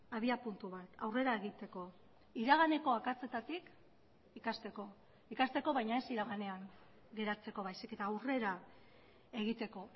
abiapuntu bat aurrera egiteko iraganeko akatsetatik ikasteko ikasteko baina ez iraganean geratzeko baizik eta aurrera egiteko